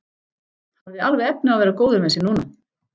Hafði alveg efni á að vera góður með sig núna.